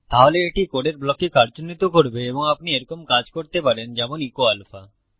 তাহলে এটি কোডের ব্লককে কার্যন্বিত করবে এবং আপনি এরকম কাজ করতে পারেন যেমন এচো আলফা